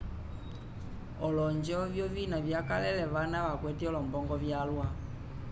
olonjo eviovina vyakalele vana vakwete olombongo vyalwa